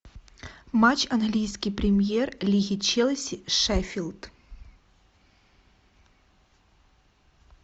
матч английской премьер лиги челси шеффилд